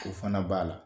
O fana b'a la